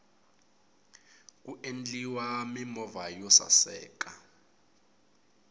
ku ndliwa mimovha yo saseka